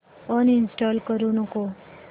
uninstall करू नको